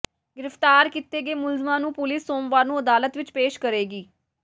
ਗ੍ਰਿਫ਼ਤਾਰ ਕੀਤੇ ਗਏ ਮੁਲਜ਼ਮਾਂ ਨੂੰ ਪੁਲੀਸ ਸੋਮਵਾਰ ਨੂੰ ਅਦਾਲਤ ਵਿੱਚ ਪੇਸ਼ ਕਰੇਗੀ